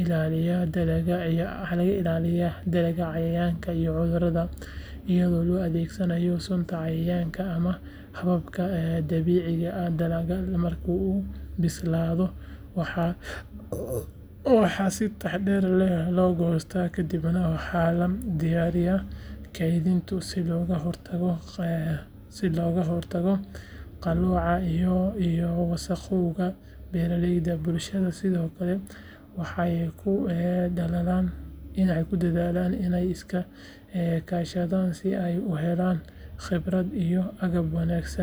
ilaalinayaa dalagga cayayaanka iyo cudurada iyada oo la adeegsanayo sunta cayayaanka ama hababka dabiiciga ah dalagga marka uu bislaado waxaa si taxadar leh loo goostaa kadibna waxaa la diyaariyaa kaydinta si looga hortago qallooca iyo wasakhowga beeralayda bulshada sidoo kale waxay ku dadaalaan inay iska kaashadaan si ay u helaan khibrad iyo agab wanaagsan.